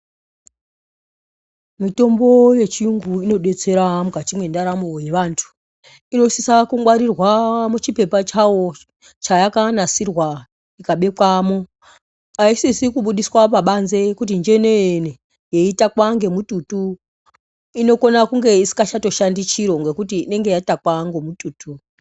Mitombo yechiyungu inodetsera mukati mendaramo yevanyu inosisa kungwarirwa muchipepa chawo chayakanasirwa chikabekwamo aisisi kubudisa pabànze kuti njenene yetakwa ngemututu yetakwa ngemututu inokwanisa kunge isisa shandi ngekuti inenge yatakwa ngemututu.